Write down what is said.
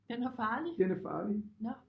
Den er farlig? Nåh